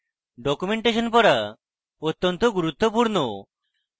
documentation পড়া অত্যন্ত গুরুত্বপূর্ণ